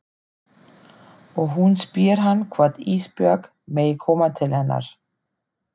Og hún spyr hann hvort Ísbjörg megi koma til hennar.